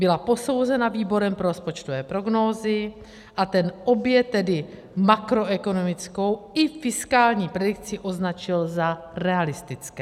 Byla posouzena výborem pro rozpočtové prognózy a ten obě, tedy makroekonomickou i fiskální predikci, označil za realistické.